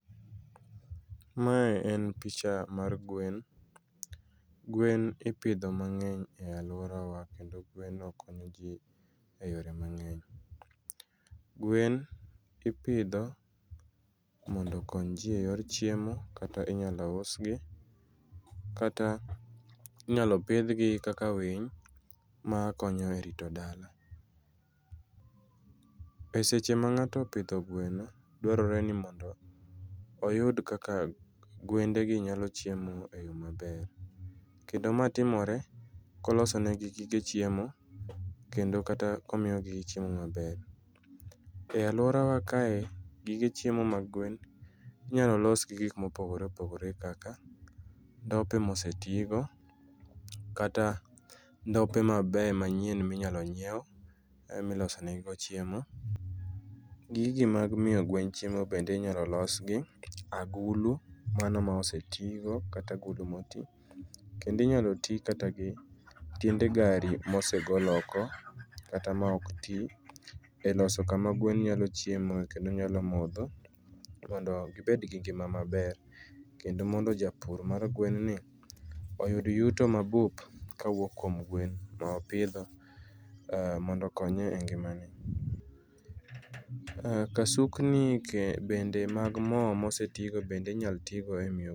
Mae en picha mar gwen. Gwen ipidho mang'eny e alworawa, kendo gweno konyo ji e yore mangeny. Gwen ipidho mondo okony ji e yor chiemo, kata inyalo usgi, kata inyalo pidhgi kaka winy makonyo e rito dala. E seche ma ng'ato opidho gweno, dwarore ni mondo oyud kaka gwende gi nyalo chiemo e yo maber. Kendo mae timore koloso negi gige chiemo, kendo kata komiyo gi chiemo maber. E alworawa kae, gige chiemo mag gwen inyalo los gi gik ma opogore opogore kaka, ndope ma osetigo, kata ndope mabeyo manyien ma inyalo nyiew, ema iloso negi go chiemo. Gigi mag miyo gwen chiemo bende inyalo los gi, gulu mano ma oseti go, kata agulu ma oti. Kendo inyalo los kata gi tiende gari, mosegol oko, kata ma ok ti, e loso kama gwen nyalo chiemoe kendo nyalo kodho mondo gibed gi ngima maber, kendo mondo japur mar gwen ni, oyud yuto mabup kawuok kuom gwen ma opidho mondo okonye e ngimane. Kasukni bende mag mo ma osetigo, bende inyalo ti go e miyo.